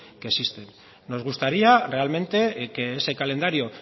que existen nos gustaría realmente que ese calendario